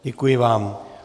Děkuji vám.